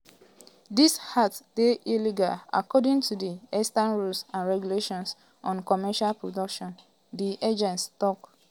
dis act dey illegal according to di extant rules and regulations on commercial production di agency tok.